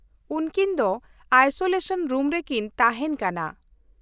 ᱩᱱᱠᱤᱱ ᱫᱚ isolation room ᱨᱮᱠᱤᱱ ᱛᱟᱦᱮᱱ ᱠᱟᱱᱟ ᱾